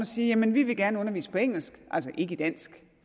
siger jamen vi vil gerne undervise på engelsk altså ikke i dansk